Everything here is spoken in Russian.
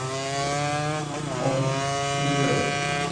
омск пригород